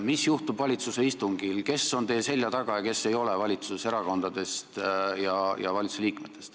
Mis juhtub valitsuse istungil, kes valitsuserakondadest ja valitsusliikmetest on teie selja taga ja kes ei ole?